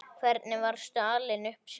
Hvernig varstu alin upp sjálf?